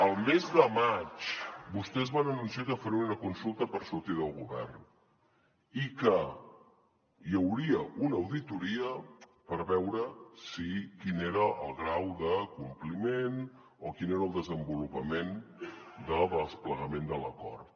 el mes de maig vostès van anunciar que farien una consulta per sortir del govern i que hi hauria una auditoria per veure quin era el grau de compliment o quin era el desenvolupament del desplegament de l’acord